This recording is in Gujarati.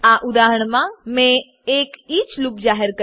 આ ઉદાહરણમાં મેં એક ઇચ ઈચ લૂપ જાહેર કર્યું છે